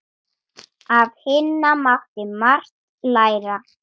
Af Hinna mátti margt læra.